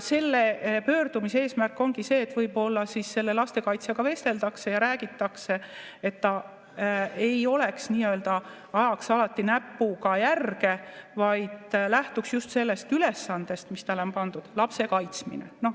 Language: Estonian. Selle pöördumise eesmärk ongi see, et võib-olla selle lastekaitsjaga vesteldakse ja räägitakse, et ta nii-öelda ei ajaks alati näpuga järge, vaid lähtuks just sellest ülesandest, mis talle on pandud: lapse kaitsmine.